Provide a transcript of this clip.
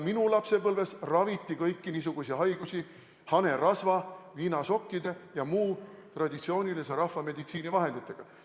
Minu lapsepõlves raviti kõiki niisuguseid haigusi hanerasva, viinasokkide ja muude traditsioonilise rahvameditsiini vahenditega.